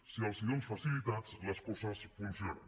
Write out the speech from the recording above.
si els dónes facilitats les coses funcionen